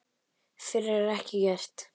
Fyrr er ekkert gert.